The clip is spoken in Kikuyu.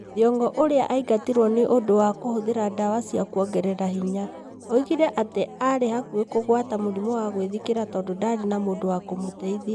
Thiong'o ũrĩa aingatirwo nĩ ũndũ wa kũhũthĩra ndawa cia kũongerera hĩnya, oigire atĩ aarĩ hakuhĩ kũgwata mũrimũ wa gwĩthikĩra tondũ ndaarĩ na mũndũ wa kũmũteithia.